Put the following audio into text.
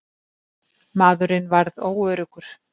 Maðurinn varð óöruggur.